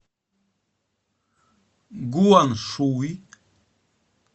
гуаншуй